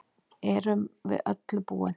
Erum við öllu búin